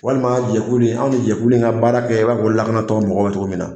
Walima jɛkulu in, anw ni jɛku ka baara kɛ in na fɔ lakanatɔ mɔgɔw bɛ togo min na.